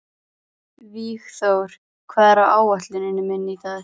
Vígþór, hvað er á áætluninni minni í dag?